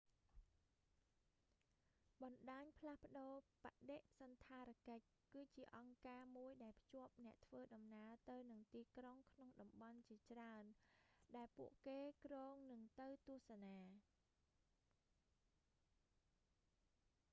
បណ្តាញផ្លាស់ប្តូរបដិសណ្ឋារកិច្ច គឺជាអង្គការមួយដែលភ្ជាប់អ្នកធ្វើដំណើរទៅនឹងទីក្រុងក្នុងតំបន់ជាច្រើនដែលពួកគេគ្រោងនឹងទៅទស្សនា